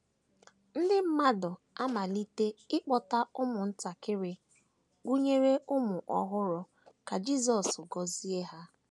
Ndị mmadụ amalite ịkpọta ụmụntakịrị, gụnyere ụmụ ọhụrụ, ka Jisọs gọzie ha.